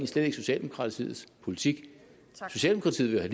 slet ikke socialdemokratiets politik socialdemokratiet